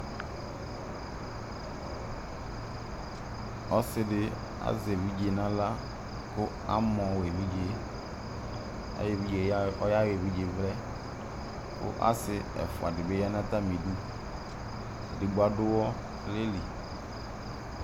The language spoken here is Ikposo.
ɔsidi ɑzɛ ɛvidzɛ nɑlɑ ku ɑmɔ ɛvidzɛ ayɛvidzɛ ɔyɑyɔ ɛvidzɛvlɛ ku asiɛfuɑdibi yɑnɑtɑmiɛtu kuɑdu wɔnɑlɛlin